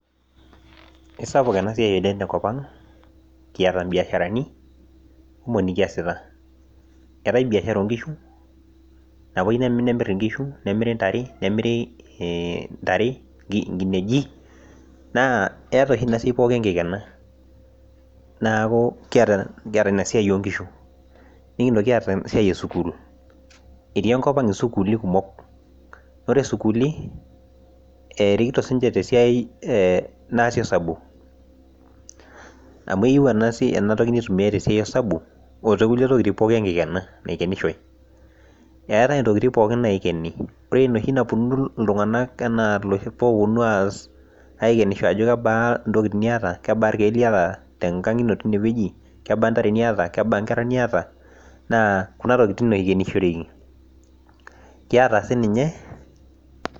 kisapuk ena siai oleng' tenkopang' etaa ibiasharani kumok nikiasita, eetae biashara oo inkishu nalo nemiri inkishu nemiri intare, inkineji naa eeta oshi ina siai pooki enkikena neeku kiyata inasiai oo inkishu, nikintoki aata esiai esukul, ore isukuuli erikito sii niche tesiai naasi osabu, amu eyieu ena toki nitumiyai tesiai osabu otoo ntokitin pooki enkikena ore enoshi napuonu iltung'anak adol ajo kebaa intokitin niyata aiken te nakang' ino teine weji , kebaa inkera niyata , kebaa intare.